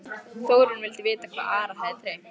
Þórunn vildi vita hvað Ara hefði dreymt.